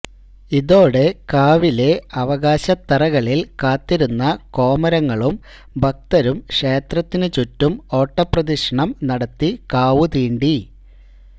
ഇതോടെ കാവിലെ അവകാശത്തറകളില് കാത്തിരുന്ന കോമരങ്ങളും ഭക്തരും ക്ഷേത്രത്തിനു ചുറ്റും ഓട്ടപ്രദക്ഷിണം നടത്തി കാവുതീണ്ടി